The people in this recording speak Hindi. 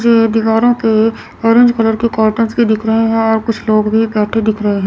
ये दीवारों के ऑरेंज कलर के कर्टन भी दिख रहे हैं और कुछ लोग भी बैठे दिख रहे --